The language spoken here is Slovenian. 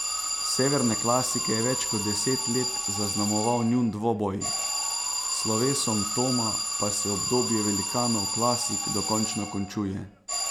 Severne klasike je več kot deset let zaznamoval njun dvoboj, s slovesom Toma pa se obdobje velikanov klasik dokončno končuje.